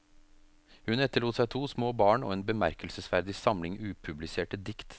Hun etterlot seg to små barn og en bemerkelsesverdig samling upubliserte dikt.